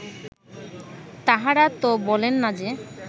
তাঁহারা ত বলেন না যে